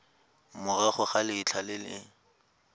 morago ga letlha le le